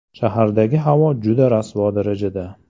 Shahardagi havo juda rasvo darajada.